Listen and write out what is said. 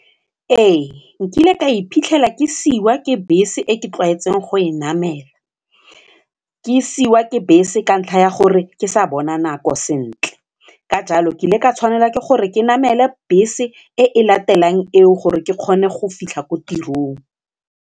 Ee nkile ka iphitlhela ke siwa ke bese e ke tlwaetseng go e namela, ke siwa ke bese ka ntlha ya gore ke sa bona nako sentle ka jalo ke ile ka tshwanela ke gore ke namele bese e e latelang eo gore ke kgone go fitlha ko tirong.